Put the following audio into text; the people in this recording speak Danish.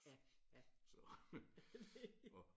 Ja ja det